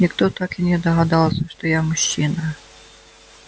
никто так и не догадался что я мужчина